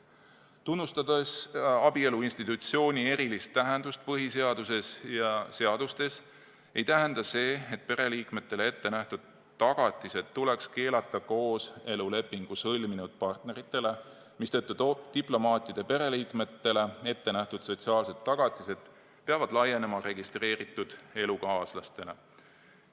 Kuigi tunnustatakse abielu institutsiooni erilist tähendust põhiseaduses ja seadustes, ei tähenda see, et pereliikmetele ette nähtud tagatised tuleks keelata kooselulepingu sõlminud partneritele, mistõttu diplomaatide pereliikmetele ette nähtud sotsiaalsed tagatised peavad laienema registreeritud elukaaslastele.